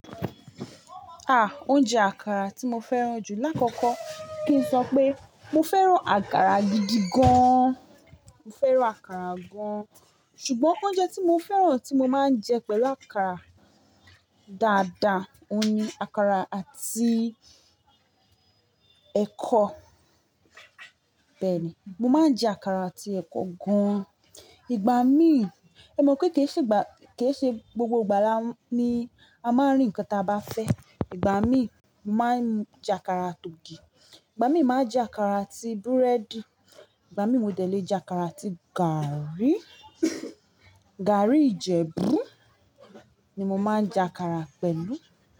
Ah! Oúnjẹ àkàrà tí mo fẹ́ràn jù lákọkọ kí n sọ pé mo fẹ́ràn àkàrà gidi gan. Mo fẹ́ràn àkàrà gan. Ṣùgbọ́n oúnjẹ tí mo fẹ́ràn tí mo máa ń jẹ pẹ̀lú àkàrà dáadáa, òun ni àkàrà àti ẹkọ. Bẹ́ẹ̀ ni, mo máa ń jẹ àkàrà àti ẹkọ gan. Ìgbà mí, ẹmọ̀ pé kì í ṣe gbà-- kì í ṣe gbogbo ìgbà ni a máa rí nǹkan tí a bá fẹ́. Ìgbà mí, mo màá n jẹ àkàrà atògì, ìgbà mí, màá jẹ àkàrà àti búrẹ́dì, ìgbà mí, mo dẹ̀ le jẹ àkàrà àti gààrí. Gààrí Ìjẹ̀bú ni mo máa ń jẹ àkàrà pẹ̀lú.